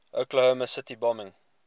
oklahoma city bombing